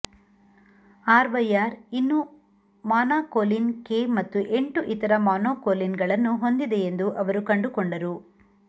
RYR ಇನ್ನೂ monacolin K ಮತ್ತು ಎಂಟು ಇತರ ಮೊನಾಕೋಲಿನ್ಗಳನ್ನು ಹೊಂದಿದೆಯೆಂದು ಅವರು ಕಂಡುಕೊಂಡರು